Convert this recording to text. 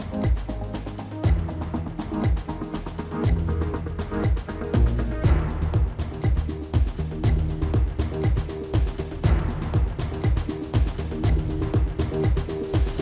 við